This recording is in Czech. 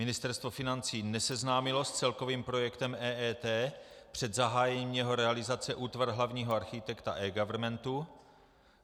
Ministerstvo financí neseznámilo s celkovým projektem EET před zahájením jeho realizace útvar hlavního architekta eGovernmentu.